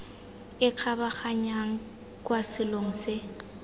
e kgabaganyang kwa selong se